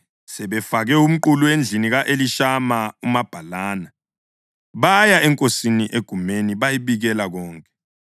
Sebefake umqulu endlini ka-Elishama umabhalani, baya enkosini egumeni bayibikela konke,